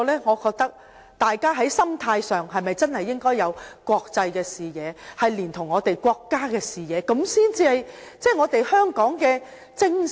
我覺得大家在心態上應該有國際視野，連同我們國家的視野，這樣才是我們香港的精神。